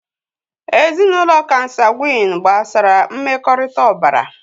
Ezinụlọ kansagwị́n gbasara mmekọrịta ọbara